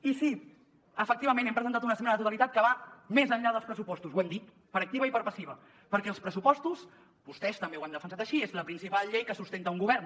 i sí efectivament hem presentat una esmena a la totalitat que va més enllà dels pressupostos ho hem dit per activa i per passiva perquè els pressupostos vostès també ho han defensat així és la principal llei que sustenta un govern